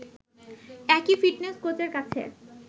একই ফিটনেস কোচের কাছে